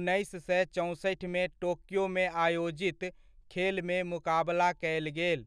उन्नैस सए चौंसठिमे टोक्योमे आयोजित खेलमे मुकाबला कयल गेल।